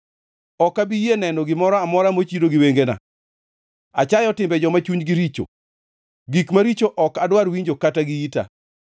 Ok abi yie neno gimoro amora mochido gi wengena. Achayo timbe joma chunygi richo; gik maricho ok adwar winjo kata gi ita.